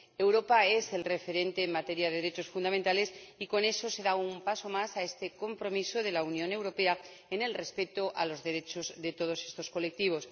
Europa es el referente en materia de derechos fundamentales, y con esto se da un paso más en este compromiso de la Unión Europea con el respeto de los derechos de todos estos colectivos.